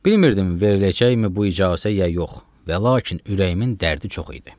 Bilmirdim veriləcəkmi bu icazə ya yox və lakin ürəyimin dərdi çox idi.